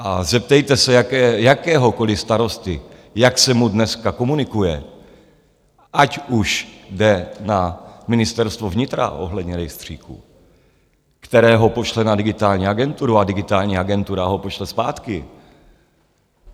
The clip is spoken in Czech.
A zeptejte se jakéhokoliv starosty, jak se mu dneska komunikuje, ať už jde na Ministerstvo vnitra ohledně rejstříku, které ho pošle na Digitální agenturu, a Digitální agentura ho pošle zpátky.